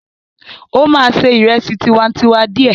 Ó máa ṣe ìrẹsì tiwantiwa díẹ̀.